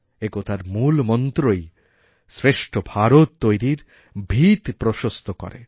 একতার মূল মন্ত্রইশ্রেষ্ঠ ভারত তৈরির ভিত প্রশস্ত করে